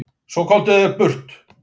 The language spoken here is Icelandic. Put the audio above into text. Svo komdu þér burt.